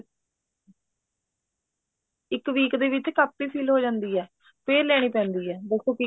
ਇੱਕ week ਦੇ ਵਿੱਚ ਕਾਪੀ fill ਹੋ ਜਾਂਦੀ ਆ ਫ਼ੇਰ ਲੈਣੀ ਪੈਂਦੀ ਹੈ ਦੱਸੋ